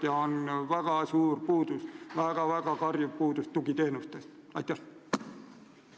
Ja väga suur puudus on tugiteenustest, mille järele on lausa karjuv vajadus.